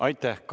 Aitäh!